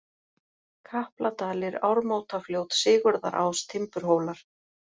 Kapladalir, Ármótafljót, Sigurðarás, Timburhólar